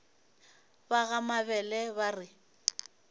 ba ga mabele ba re